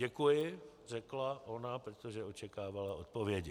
Děkuji, řekla ona, protože očekávala odpovědi.